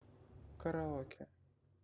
караоке